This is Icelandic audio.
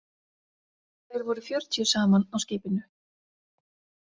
Þeir voru fjörutíu saman á skipinu.